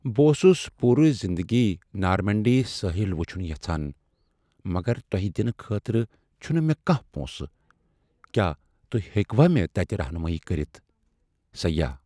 بہٕ اوسُس پورٕ زندگی نارمینڈی ساحل وٕچِھن یژھان مگر تۄہِہ دِنہٕ خٲطرٕ چُھنہٕ مےٚ کانٛہہ پونٛسہٕ، کیا تُہۍ ہیکہٕ وہ مے تَتِہ رہنمٲیی کٔرِتھ ؟سیاح